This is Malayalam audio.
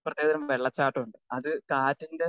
സ്പീക്കർ 2 പ്രത്യേകതരം വെള്ളച്ചാട്ടമുണ്ട് അത് കാറ്റിൻറെ